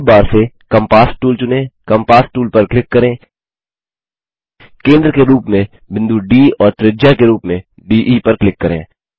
tool bar से compass tool चुनें compass tool पर क्लिक करें केंद्र के रूप में बिंदु डी और त्रिज्या के रूप में डीई पर क्लिक करें